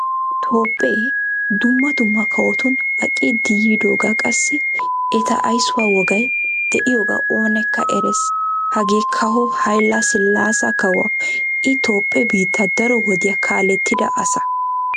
Toophphee dumma dumma kawottun aqqiddi yiidoga qassi etta aysuwaa wogay deiyoga oonekka erees. Hagee kawo hayila silaasa kawuwaa. I Toophphee biittaa daro wodiyaa kaalettidaa asaa.